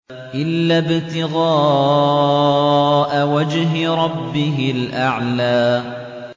إِلَّا ابْتِغَاءَ وَجْهِ رَبِّهِ الْأَعْلَىٰ